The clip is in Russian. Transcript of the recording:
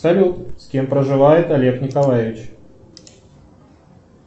салют с кем проживает олег николаевич